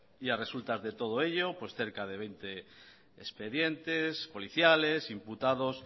y a resultas de todo ello pues cerca de veinte expedientes policiales imputados